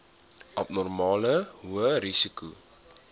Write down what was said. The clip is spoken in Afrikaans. abnormale hoë risiko